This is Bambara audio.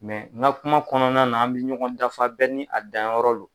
n ka kuma kɔnɔna na an bɛ ɲɔgɔn dafa bɛɛ ni a danyɔrɔ do.